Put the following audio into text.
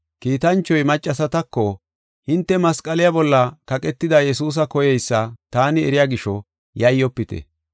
Kiitanchoy maccasatako, “Hinte masqaliya bolla kaqetida Yesuusa koyeysa taani eriya gisho, yayyofite.